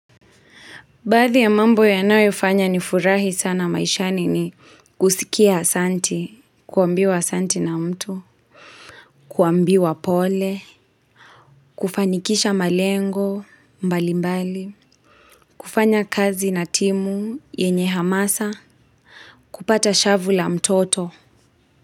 Baadhi ya mambo yanayofanya ni furahi sana maishani ni kusikia asanti, kuambiwa asanti na mtu, kuambiwa pole, kufanikisha malengo, mbali mbali, kufanya kazi na timu, yenye hamasa, kupata shavu la mtoto.